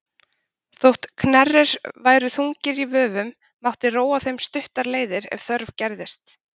Þótt knerrir væru þungir í vöfum mátti róa þeim stuttar leiðir ef þörf gerðist.